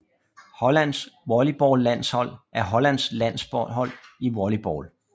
Hollands volleyballlandshold er Hollands landshold i volleyball